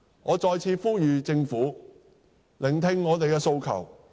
我再次呼籲政府聆聽我們的訴求。